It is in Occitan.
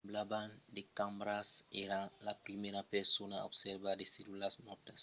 semblavan de cambras. èra la primièra persona a observar de cellulas mòrtas